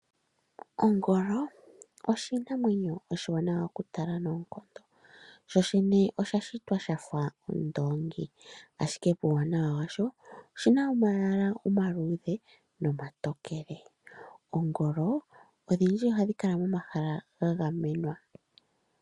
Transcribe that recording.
Ongolo oshinamwenyo oshiwanawa okutala noonkondo , sho shene osha shitwa shafa ondoongi , ashike puuwanawa washo oshina omayala omaluudhe nomatokele. Oongolo odhindji ohadhi kala momahala ga gamenwa.